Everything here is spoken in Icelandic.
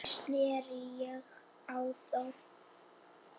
Þannig sneri ég á þá.